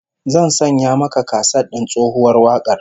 Zan sanya maka kaset din tsohuwar wakar